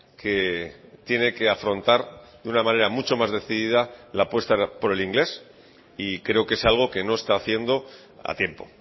que tiene que afrontar de una manera mucho más decidida la apuesta por el inglés y creo que es algo que no está haciendo a tiempo